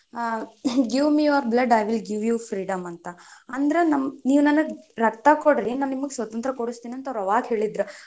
Give me your blood I will give you freedom ಅಂತ ಅಂದ್ರ ನಮ್ ನೀವ್ ನನಗ್ ರಕ್ತ ಕೊಡ್ರಿ, ನಾನ್ ನಿಮ್ಗ್ ಸ್ವತಂತ್ರ ಕೊಡಿಸ್ತಿನಿ ಅಂತ ಅವ್ರ್ ನಮ್ಗ್ ಅವಾಗ ಹೇಳಿದ್ರ್.